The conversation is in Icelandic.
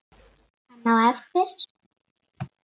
Hann á eftir.